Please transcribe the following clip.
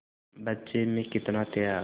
बच्चे में कितना त्याग